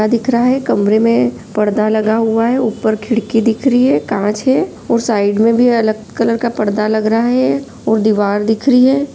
दिख रहा है कमेरे में पर्दा लगा हुआ है ऊपर खिड़की दिख रही है और कांच है और साइड में भी अलग तरह का पर्दा दिख रहा है और दीवार दिख रही है।